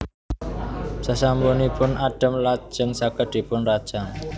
Sasampunipun adhem lajeng saged dipunrajang